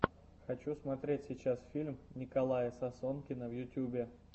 хочу смотреть сейчас фильм николая сосонкина в ютубе